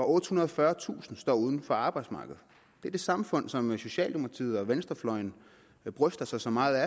ottehundrede og fyrretusind står uden for arbejdsmarkedet det er det samfund som socialdemokratiet og venstrefløjen bryster sig så meget af